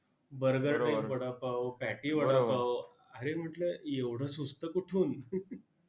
burger type vada pav vada pav, अरे म्हंटलं एवढं सुचतं कुठून?